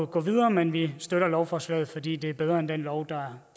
gå videre men vi støtter lovforslaget fordi det er bedre end den lov der